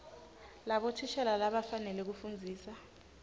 labothishela labakufanele kufundzisa